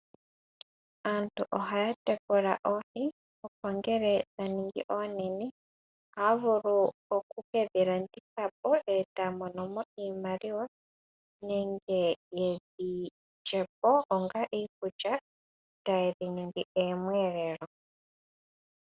Aantu ohaya tekula oohi, opo ngele dha ningi oonene, ota vulu oku ke dhi landitha po, e ta mono mo iimaliwa nenge ye dhi lye po onga iikulya, taye dhi ningi omiyelelo.